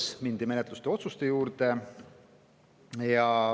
Seejärel mindi menetlusotsuste juurde.